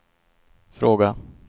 fråga